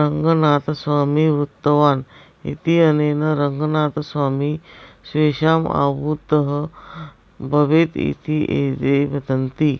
रङ्गनाथस्वामी वृतवान् इत्यनेन रङ्गनाथस्वामी स्वेषाम् आवुत्तः भवेत् इति एते वदन्ति